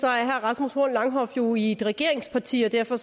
er herre rasmus horn langhoff jo i et regeringsparti og derfor